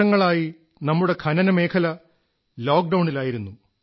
വർഷങ്ങളായി നമ്മുടെ ഖനന മേഖല ലോക്ഡൌണിലായിരുന്നു